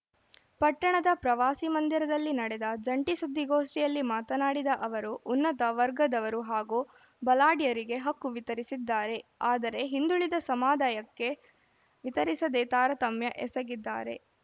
ಪಟ್ಟಣದ ಪ್ರವಾಸಿ ಮಂದಿರದಲ್ಲಿ ನಡೆದ ಜಂಟಿ ಸುದ್ದಿಗೋಷ್ಠಿಯಲ್ಲಿ ಮಾತನಾಡಿದ ಅವರು ಉನ್ನತ ವರ್ಗದವರು ಹಾಗೂ ಬಲಾಢ್ಯರಿಗೆ ಹಕ್ಕು ವಿತರಿಸಿದ್ದಾರೆ ಆದರೆ ಹಿಂದುಳಿದ ಸಮದಾಯಕ್ಕೆ ವಿತರಿಸದೇ ತಾರತಮ್ಯ ಎಸಗಿದ್ದಾರೆ